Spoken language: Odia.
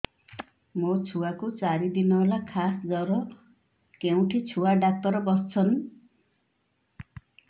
ମୋ ଛୁଆ କୁ ଚାରି ଦିନ ହେଲା ଖାସ ଜର କେଉଁଠି ଛୁଆ ଡାକ୍ତର ଵସ୍ଛନ୍